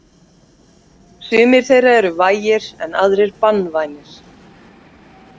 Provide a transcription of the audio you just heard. Sumir þeirra eru vægir en aðrir banvænir.